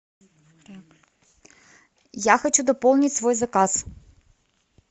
я хочу дополнить свой заказ